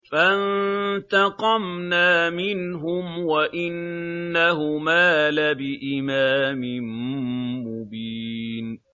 فَانتَقَمْنَا مِنْهُمْ وَإِنَّهُمَا لَبِإِمَامٍ مُّبِينٍ